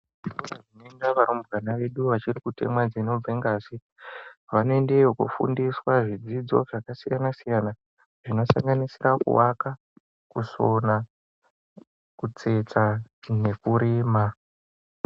Zvikora zvinoenda varumbwana vedu vachiri kutemwa dzinobve ngazi vanoendeyo kofundiswa zvidzidzo zvakasiyana siyana zvinosanganisira kuvaka kutsetsa nekurima.